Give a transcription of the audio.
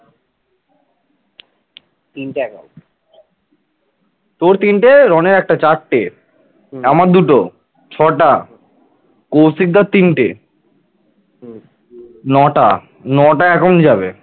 নটা নটা account যাবে